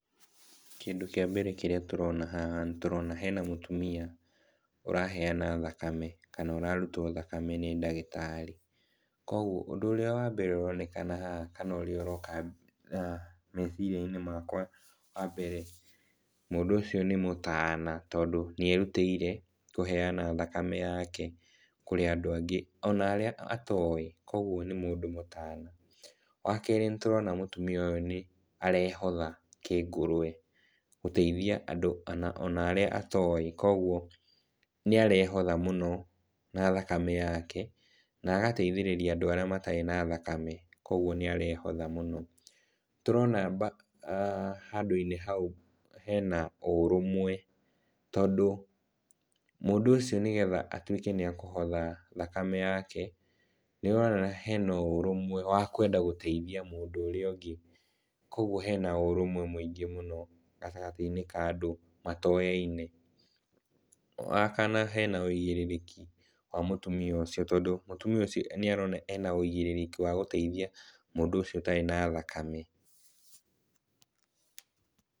Kĩndũ kĩa mbere kĩrĩa tũrona aha nĩtũrona hena mũtumia ũraheyana thakame, kana ũrarutwo thakame nĩ ndagĩtarĩ. Koguo ũndũ ũrĩa wa mbere ũroneka haha kana ũroka meciria-inĩ makwa wa mbere, mũndũ ũcio nĩ mũtana tondũ nĩerutĩire kũheyana thakame yake kũrĩ andũ angĩ, ona aria atowĩ koguo nĩ mũtana. Wa kerĩ, nĩtũrona mũtumia ũyũ arehotha kĩngũrũe gũteithia andũ arĩa atowĩ, koguo nĩarehotha mũno na thakame yake na agateithĩrĩria andũ arĩa matarĩ na thakame, koguo nĩarehotha mũno. Nĩtũrona handũ-inĩ hau hena ũrũmwe, tondũ mũndũ ũcio nĩgetha atuĩke nĩakuhotha thakame yake nĩũrona hena ũrũmwe wa kwenda gũteithia mũndũ ũrĩa ũngĩ, koguo hena ũrũmwe mũingĩ mũno gatagatĩ-inĩ ka andũ matoyaine. Wa kana, hena ũigĩrĩrĩki wa mũtumia ũcio, tondũ mũtumia ũcio nĩarona ena ũigĩrĩki wa gũteithia mũndũ ũcio ũtarĩ na thakame.